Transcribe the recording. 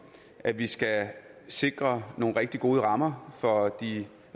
at vi skal sikre nogle rigtig gode rammer for de